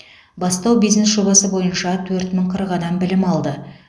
бастау бизнес жобасы бойынша төрт мың қырық адам білім алды